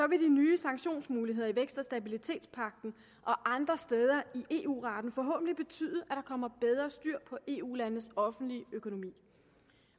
vil de nye sanktionsmuligheder i vækst og stabilitetspagten og andre steder i eu retten forhåbentlig betyde at der kommer bedre styr på eu landenes offentlige økonomi